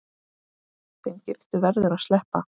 Þeim giftu verður að sleppa.